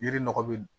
Yiri nɔgɔ be